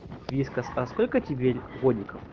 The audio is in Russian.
вискас а сколько тебе годиков